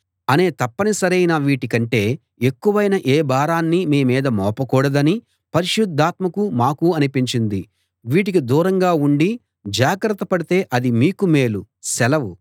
అనే తప్పనిసరైన వీటి కంటే ఎక్కువైన ఏ భారాన్నీ మీ మీద మోపకూడదని పరిశుద్ధాత్మకూ మాకూ అనిపించింది వీటికి దూరంగా ఉండి జాగ్రత్త పడితే అది మీకు మేలు సెలవు